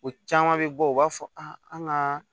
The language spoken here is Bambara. O caman bɛ bɔ u b'a fɔ an ka